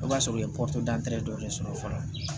O b'a sɔrɔ u ye dɔ de sɔrɔ fɔlɔ